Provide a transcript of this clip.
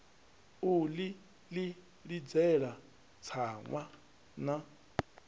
u ḽi ḽidzela tsaṅwa na